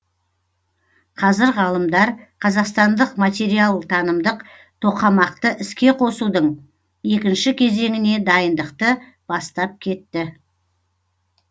қазір ғалымдар қазақстандық материалтанымдық тоқамақты іске қосудың екінші кезеңіне дайындықты бастап кетті